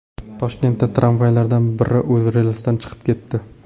Toshkentda tramvaylardan biri o‘z relsidan chiqib ketdi.